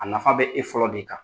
A nafa bɛ e fɔlɔ de kan.